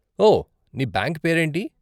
ఓ, నీ బ్యాంక్ పేరేంటి?